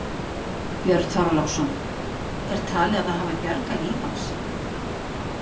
Björn Þorláksson: Er talið að það hafi bjargað lífi hans?